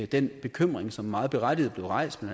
den bekymring som meget berettiget blev rejst af